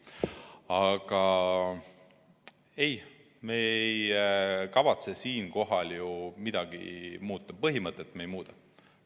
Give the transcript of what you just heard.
Aga ei, me ei kavatse siinkohal ju midagi muuta, põhimõtet me ei muuda.